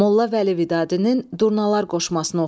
Molla Vəli Vidadinin Durnalar qoşmasını oxuyun.